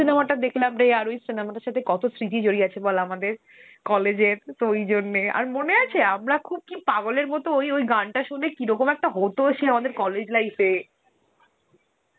cinema টা দেখলাম রে আর ওই cinema তার সথে কত সৃতি জড়িয়ে আছে বল আমাদের, college এর, দুই জন্যে আর মনে আছে আমরা খুব কি পাগলের মতন ওই গানটা সুনে কিরকম একটা হত সেই আমাদের college life এ